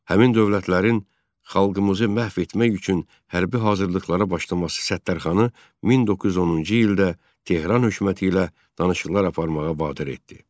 Həmin dövlətlərin xalqımızı məhv etmək üçün hərbi hazırlıqlara başlaması Səttarxanı 1910-cu ildə Tehran hökuməti ilə danışıqlar aparmağa vadar etdi.